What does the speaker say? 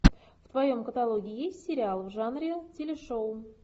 в твоем каталоге есть сериал в жанре телешоу